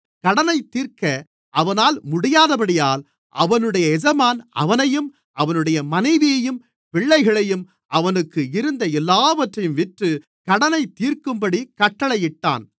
கடனைத்தீர்க்க அவனால் முடியாதபடியால் அவனுடைய எஜமான் அவனையும் அவனுடைய மனைவியையும் பிள்ளைகளையும் அவனுக்கு இருந்த எல்லாவற்றையும் விற்று கடனைத்தீர்க்கும்படிக் கட்டளையிட்டான்